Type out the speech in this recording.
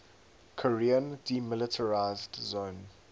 korean demilitarized zone